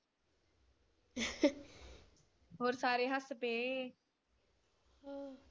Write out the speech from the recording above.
ਹੋਰ ਸਾਰੇ ਹੱਸ ਪਏ .